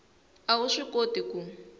a wu swi koti ku